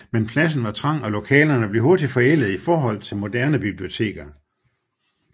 Men pladsen var trang og lokalerne blev hurtigt forældede i forhold til moderne biblioteker